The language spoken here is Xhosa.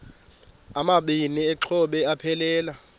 amabini exhobe aphelela